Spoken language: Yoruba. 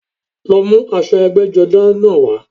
Lọ mú aṣọ ẹgbẹ́jọdá náà wá